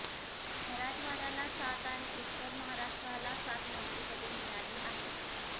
मराठवाड्याला सात आणि उत्तर महाराष्ट्राला सात मंत्रिपदे मिळाली आहेत